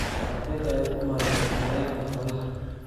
Qaabkee ayaad u maareysaa kheyraadka xoolaha?